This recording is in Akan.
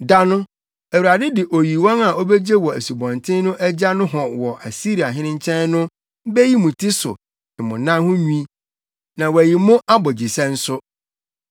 Da no, Awurade de oyiwan a obegye wɔ Asubɔnten no agya nohɔ wɔ Asiriahene nkyɛn, no beyi mo ti so ne mo anan ho nwi na wayi mo abogyesɛ nso.